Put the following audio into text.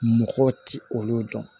Mɔgɔw tɛ olu dɔn